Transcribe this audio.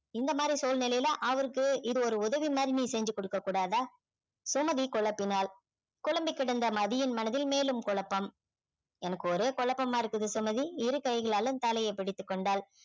இந்த மாதிரி சூழ்நிலையில அவருக்கு இது ஒரு உதவி மாதிரி நீ செஞ்சி குடுக்கக் கூடாதா சுமதி குழப்பினாள் குழம்பி கிடந்த மதியின் மனதில் மேலும் குழப்பம் எனக்கு ஒரே குழப்பமா இருக்குது சுமதி இரு கைகளாலும் தலையைப் பிடித்துக் கொண்டாள்